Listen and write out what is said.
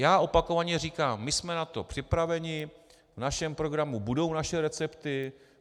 Já opakovaně říkám, my jsme na to připraveni, v našem programu budou naše recepty.